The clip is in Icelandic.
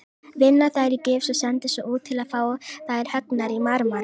Vinna þær í gifs og senda svo út til að fá þær höggnar í marmara.